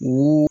O